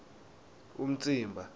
umtsimba